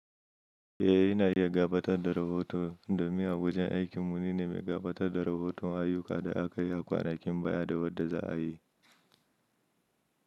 Eh, ina iya gabatar da rahoton da miy. Wajen aikin mu ni ne mai gabatar da rahoton ayyuka da aka yi a kwanakin baya da wadda za a yi.